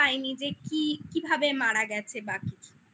পায়নি যে কি কিভাবে মারা গেছে বা কিছু